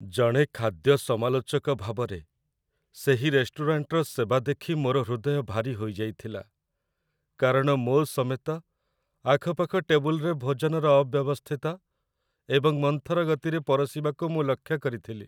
ଜଣେ ଖାଦ୍ୟ ସମାଲୋଚକ ଭାବରେ, ସେହି ରେଷ୍ଟୁରାଣ୍ଟର ସେବା ଦେଖି ମୋର ହୃଦୟ ଭାରୀ ହୋଇଯାଇଥିଲା କାରଣ ମୋ ସମେତ ଆଖପାଖ ଟେବୁଲରେ ଭୋଜନର ଅବ୍ୟବସ୍ଥିତ ଏବଂ ମନ୍ଥର ଗତିରେ ପରଶିବାକୁ ମୁଁ ଲକ୍ଷ୍ୟ କରିଥିଲି